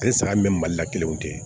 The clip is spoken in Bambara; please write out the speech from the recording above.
Ale saga min bɛ mali la kelenw di